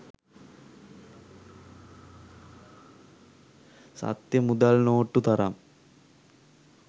සත්‍ය මුදල් නෝට්ටු තරම්